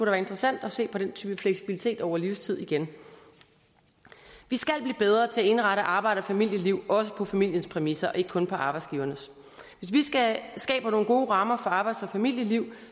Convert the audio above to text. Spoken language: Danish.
være interessant at se på den type fleksibilitet over livstid igen vi skal blive bedre til at indrette arbejds og familieliv også på familiens præmisser og ikke kun på arbejdsgivernes hvis vi skaber nogle gode rammer for arbejds og familieliv